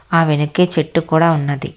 ఆ వెనకే చెట్టు కూడా ఉన్నది.